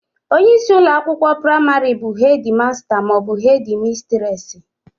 Onyeisi ụlọakwụkwọ praịmarị bụ hedị masta maọbụ hedị mistresị